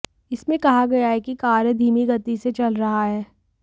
इसमें कहा गया है कि कार्य धीमी गति से चल रहा है